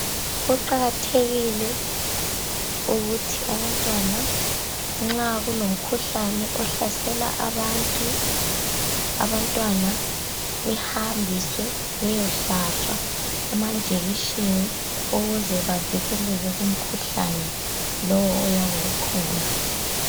Kuqakathekile ukuthi abantwana nxa kulomkhuhlane ohlasela abantu, Abantwana behambiswe bayehlatshwa amanjekiseni ukuze bavikeleke kumkhuhlane lowu oyabe ukhona